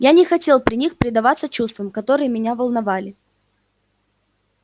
я не хотел при них предаваться чувствам которые меня волновали